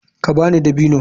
Ka ba ni dabino.